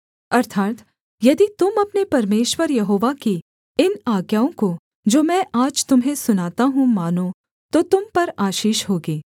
अर्थात् यदि तुम अपने परमेश्वर यहोवा की इन आज्ञाओं को जो मैं आज तुम्हें सुनाता हूँ मानो तो तुम पर आशीष होगी